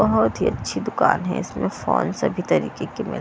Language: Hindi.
बहुत ही अच्छी दुकान है इसमें फोन सभी तरीके के मिल --